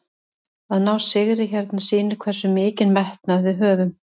Að ná sigri hérna sýnir hversu mikinn metnað við höfum.